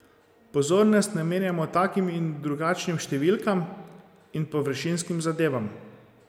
Pozornost namenjamo takim in drugačnim številkam in površinskim zadevam.